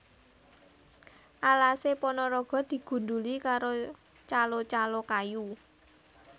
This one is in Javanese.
Alase Ponorogo digundhuli karo calo calo kayu